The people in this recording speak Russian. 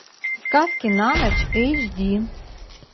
сказки на ночь эйч ди